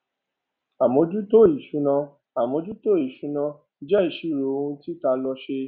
àmójútó ìṣúná àmójútó ìṣúná jẹ ìṣirò ohun tí tálọ se